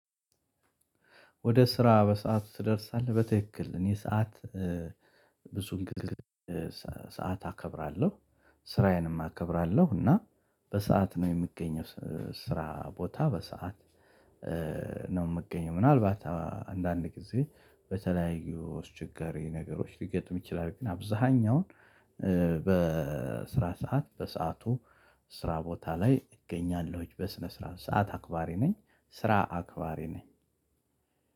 ወደ ስራ በሰአት ትደርሳለህ በትክክል እኔ ሰዓት ብዙን ግዜ ሰዓት አከብራለሁ። ስራዬንም አከብራለሁ እና በሰአት ነው የምገኘው ስራ ቦታ በሰአት። ነው የምገኘው ምናልባት አንዳንድ ጊዜ በተለያዩ ችግር ነገሮች ሊገጥም ይችላል። ግን አብዛኛውን በስራ ሰዓት በሰአቱ ስራ ቦታ ላይ እገኛለሁኝ። በስነ ስርዓት ሰዓት አክባሪ ነኝ። ስራ አክባሪ ነኝ።